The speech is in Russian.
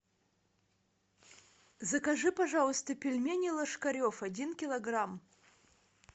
закажи пожалуйста пельмени ложкарев один килограмм